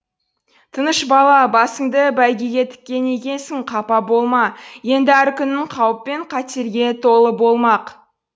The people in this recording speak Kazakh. тынышбала басыңды бәйгеге тіккен екенсің қапа болма енді әр күнің қауіп пен қатерге толы болмақ